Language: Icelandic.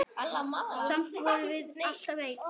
Samt vorum við alltaf ein.